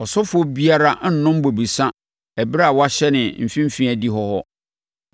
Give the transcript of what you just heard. Ɔsɔfoɔ biara nnnom bobesa ɛberɛ a wahyɛne mfimfini adihɔ hɔ.